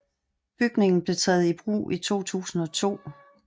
Bygningen blev taget i brug i 2002